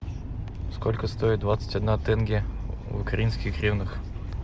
сколько стоит двадцать одна тенге в украинских гривнах